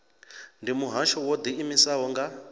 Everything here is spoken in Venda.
ndi muhasho wo ḓiimisaho nga